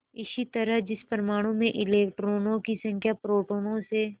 इसी तरह जिस परमाणु में इलेक्ट्रॉनों की संख्या प्रोटोनों से